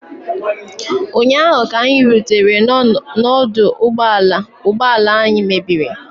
ụnyaahụ, ka anyị rutere n'ọdụ ụgbọ ala ụgbọ ala anyị mebiri